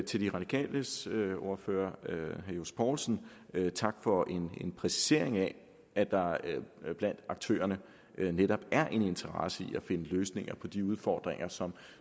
til de radikales ordfører herre johs poulsen vil jeg sige tak for en præcisering af at der blandt aktørerne netop er en interesse i at finde løsninger på de udfordringer som